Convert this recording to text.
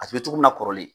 A tun bɛ togo min na kɔrɔlen